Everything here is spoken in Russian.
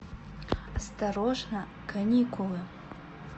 осторожно каникулы